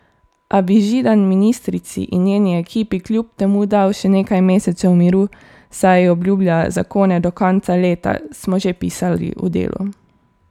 A bi Židan ministrici in njeni ekipi kljub temu dal še nekaj mesecev miru, saj obljublja zakone do konca leta, smo že pisali v Delu.